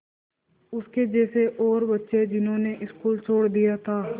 उसके जैसे और बच्चे जिन्होंने स्कूल छोड़ दिया था